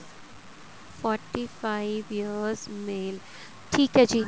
forty five years male ਠੀਕ ਏ ਜੀ